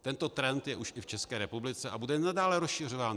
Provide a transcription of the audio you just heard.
Tento trend už je i v České republice a bude nadále rozšiřován.